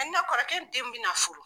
kɔrɔkɛ ni den bɛna furu.